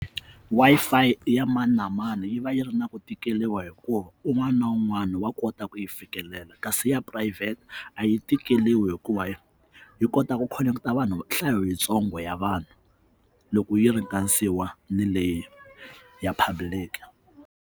Wi-Fi i ya mani na mani yi va yi ri na ku tikeriwa hikuva un'wana na un'wana wa kota ku yi fikelela kasi ya phurayivhete a yi tikeriwi hikuva yi kota ku khoneketa vanhu nhlayo yitsongo ya vanhu loko yi ringanisiwa ni leyi ya public.